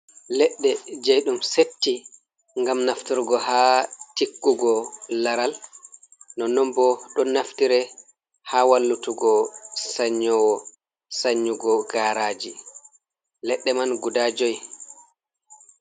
Leɗɗe je dum setti ngam nafturgo ha tiggugo laral . Nonnon bo don naftiri ha wallutugo sanyowo sannyugo garaji. Leɗɗe man guda joi.